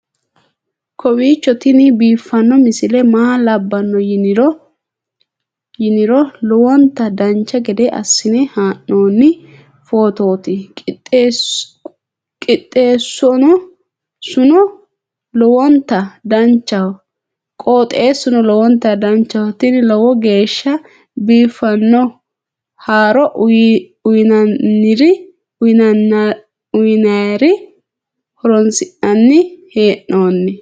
kowiicho tini biiffanno misile maa labbanno yiniro lowonta dancha gede assine haa'noonni foototi qoxeessuno lowonta danachaho. tini lowo geeshsha biiffanno haaro uyannara horoonsi'nanni hee'noonite